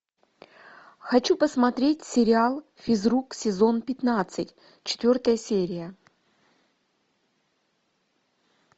хочу посмотреть сериал физрук сезон пятнадцать четвертая серия